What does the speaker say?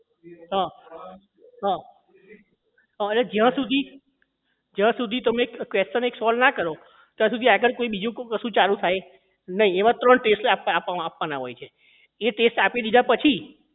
હા હા અને જ્યાં સુધી જ્યાં સુધી question એક solve ના કરો ત્યાં સુધી આગળ કોઈ બીજું કશું ચાલુ થાય નહીં એમાં ત્રણ ટેસ્ટ આપણે આપવાના હોય છે એ ટેસ્ટ આપી દીધા પછી